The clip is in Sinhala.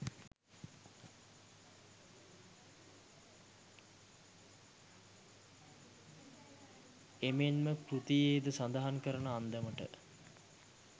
එමෙන්ම කෘතියේද සඳහන් කරන අන්දමට